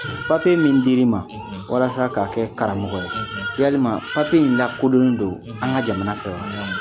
min dir'i ma, walasa ka kɛ karamɔgɔ ye, yalima in lakodonnen don an ŋa jamana fɛ wa?